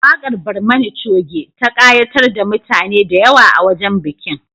Waƙar Barmani Coge ta ƙayatar da mutane da yawa a wajen bikin